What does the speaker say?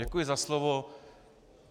Děkuji za slovo.